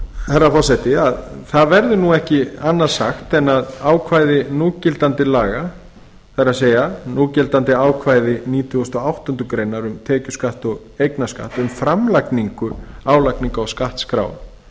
herra forseti að það verður ekki annað sagt en að ákvæði núgildandi laga það er núgildandi ákvæði nítugasta og áttundu greinar um tekjuskatt og eignarskatt um framlagningu álagningar og skattskráa